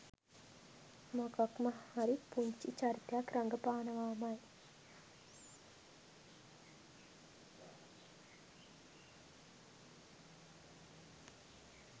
මොකක්ම හරි පුංචි චරිතයක් රඟපානවාමයි.